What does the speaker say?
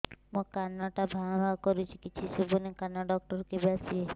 ମୋ କାନ ଟା ଭାଁ ଭାଁ କରୁଛି କିଛି ଶୁଭୁନି କାନ ଡକ୍ଟର କେବେ ଆସିବେ